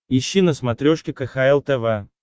ищи на смотрешке кхл тв